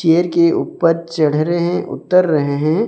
Chair के ऊपर चढ़ रहे उतर रहे हैं।